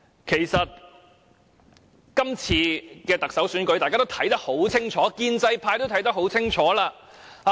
其實，今次的特首選舉，大家都看得很清楚，建制派也看得很清楚。